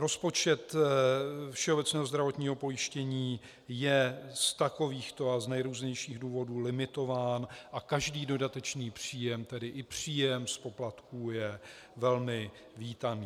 Rozpočet všeobecného zdravotního pojištění je z takovýchto a z nejrůznějších důvodů limitován a každý dodatečný příjem, tedy i příjem z poplatků, je velmi vítaný.